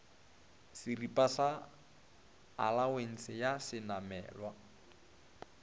šeripa sa alawense ya šenamelwa